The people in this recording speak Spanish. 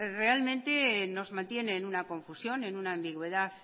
realmente nos mantiene en una confusión en una ambigüedad